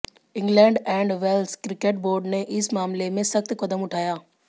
England and Wales cricket board ने इस मामले में सख्त कदम उठाया